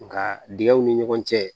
Nga dingɛw ni ɲɔgɔn cɛ